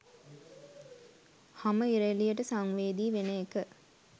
හම ඉර එලියට සංවේදී වෙන එක